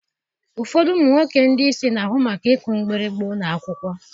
Ụfọdụ ụmụ nwoke ndị isi na-ahụ maka ịkụ mgbịrịgba ụlọ akwụkwọ.